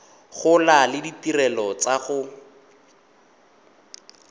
gola le ditirelo tsa go